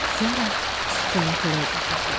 Sonra süfrəyə xörək gətirdilər.